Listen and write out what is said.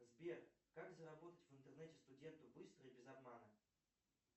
сбер как заработать в интернете студенту быстро и без обмана